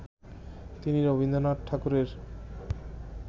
তিনি রবীন্দ্রনাথ ঠাকুরের